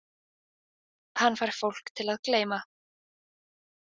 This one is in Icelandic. Hann fær fólk til að gleyma